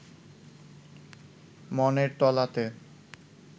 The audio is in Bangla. মনের তলাতে